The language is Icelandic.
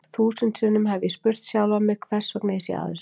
Þúsund sinnum hef ég spurt sjálfan mig hversvegna ég sé að þessu.